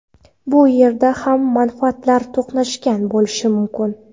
Bu yerda ham manfaatlar to‘qnashgan bo‘lishi mumkin.